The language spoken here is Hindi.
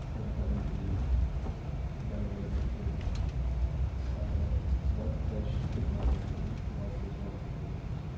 सेल करने के लिए बड़ी-बड़ी मछलियों को और बहोत फ़्रेश बहोत बेहतरीन बहोत खूबसूरत लग रही है मछलियां।